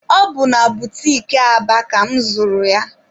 Ọ bụ na butiki Aba ka mụ zụrụ ya.